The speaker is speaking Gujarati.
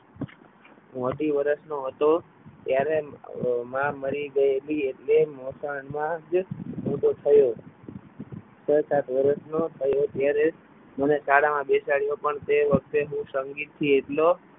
હું અઢી વર્ષનો હતો ત્યારે મા મરી ગયેલી હતી અને એ મકાનમાં જ મોટો થયો છ સાત વર્ષ તો થયો ત્યારે મને ગાળામાં બેસાડો પણ તે વખતે સંગીતથી એટલો